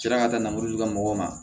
sera ka taa namara de kɛ mɔgɔw ma